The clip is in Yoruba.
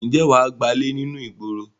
Ǹjẹ́ wà á gbálè ní inú ìgboro?